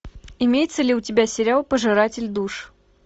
имеется ли у тебя сериал пожиратель душ